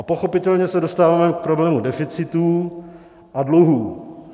A pochopitelně se dostáváme k problému deficitů a dluhů.